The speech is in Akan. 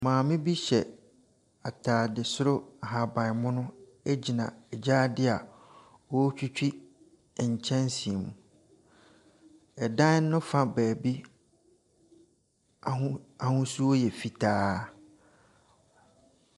Maame bi hyɛ atade soro ahaban mono gyina gyaade a ɔretwitwi nkyɛnse mu. Dan no fa baabi, aho ahosuo yɛ fitaa.